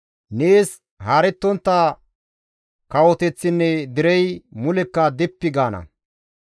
Nees haarettontta kawoteththinne derey mulekka dippi gaana.